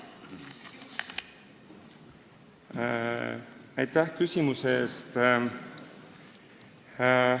Aitäh küsimuse eest!